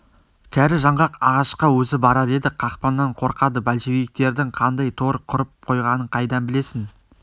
кәрі жаңғақ ағашқа өзі барар еді қақпаннан қорқады большевиктердің қандай тор құрып қойғанын қайдан білесің